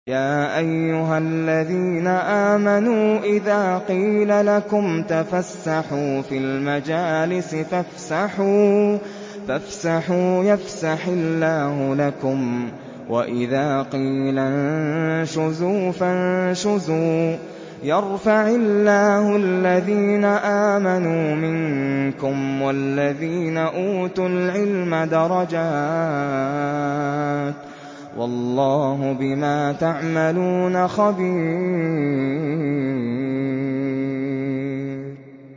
يَا أَيُّهَا الَّذِينَ آمَنُوا إِذَا قِيلَ لَكُمْ تَفَسَّحُوا فِي الْمَجَالِسِ فَافْسَحُوا يَفْسَحِ اللَّهُ لَكُمْ ۖ وَإِذَا قِيلَ انشُزُوا فَانشُزُوا يَرْفَعِ اللَّهُ الَّذِينَ آمَنُوا مِنكُمْ وَالَّذِينَ أُوتُوا الْعِلْمَ دَرَجَاتٍ ۚ وَاللَّهُ بِمَا تَعْمَلُونَ خَبِيرٌ